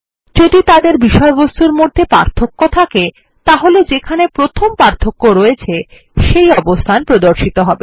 যদি তাদের বিষয়বস্তুর মধ্যে পার্থক্য থাকে তাহলে যেখানে প্রথম পার্থক্য আছে সেই অবস্থান প্রদর্শিত হবে